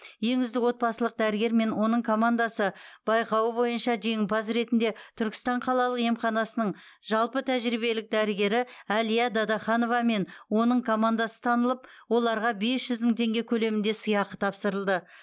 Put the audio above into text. ең үздік отбасылық дәрігер мен оның командасы байқауы бойынша жеңімпаз ретінде түркістан қалалық емханасының жалпы тәжірибелік дәрігері әлия дадаханова мен оның командасы танылып оларға бес жүз мың теңге көлемінде сыйақы тапсырылды